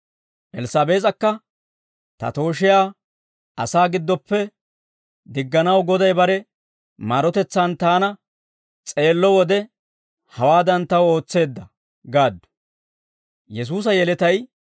Elssaabees'akka, «Ta tooshiyaa asaa giddoppe digganaw Goday bare maarotetsaan taana s'eello wode, hawaadan taw ootseedda» gaaddu.